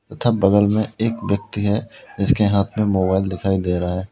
तथा बगल में एक व्यक्ति है जिसके हाथ में मोबाइल दिखाई दे रहा है।